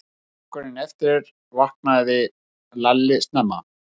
Morguninn eftir vaknaði Lalli snemma.